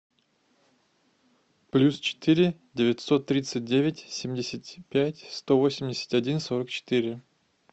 плюс четыре девятьсот тридцать девять семьдесят пять сто восемьдесят один сорок четыре